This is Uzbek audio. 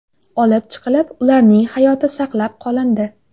olib chiqilib, ularning hayoti saqlab qolindi.